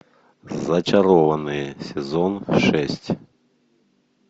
зачарованные сезон шесть